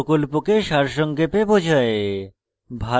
এটি প্রকল্পকে সারসংক্ষেপে বোঝায়